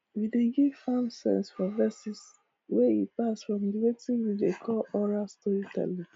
we dey give farm sense for verses wey e pass from the weting we dey call oral storytelling